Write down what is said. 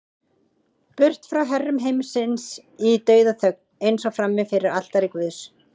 Burt frá herrum heimsins í dauðaþögn, eins og frammi fyrir altari guðs.